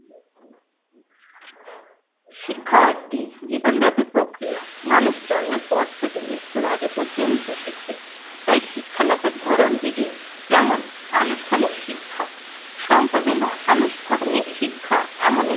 শিক্ষা একটি জীবনব্যাপী প্রক্রিয়া। মানুষ জন্মের পর থেকে মৃত্যুর আগে পর্যন্ত শিক্ষিত। তাই শিক্ষা লাভের ধরন বিধি যেমন আনুষ্ঠানিক শিক্ষা। সম্পাদনা আনুষ্ঠানিক শিক্ষা এমন একটি